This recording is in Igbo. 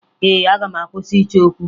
Ee, aga m akwụsị ịchọ okwu